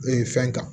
Ee fɛn kan